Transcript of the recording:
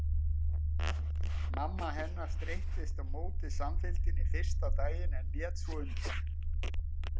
Mamma hennar streittist á móti samfylgdinni fyrsta daginn en lét svo undan.